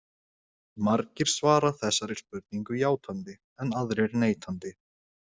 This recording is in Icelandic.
Margir svara þessari spurningu játandi en aðrir neitandi.